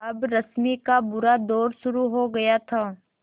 अब रश्मि का बुरा दौर शुरू हो गया था